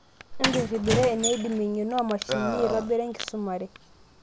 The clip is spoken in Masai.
Embirribira eneidim eng'eno oomashinini aaitobira enkisumare.